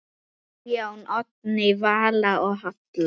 Guðjón, Oddný Vala og Halla.